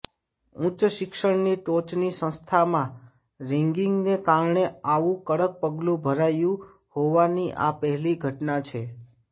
ઉચ્ચ શિક્ષણની ટોચની સંસ્થામાં રેગિંગને કારણે આવું કડક પગલું ભરાયું હોવાની આ પહેલી ઘટના છે